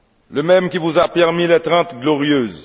le même qui vous a permis les Trente Glorieuses